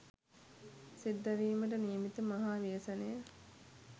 සිද්ධ වීමට නියමිත මහා ව්‍යසනය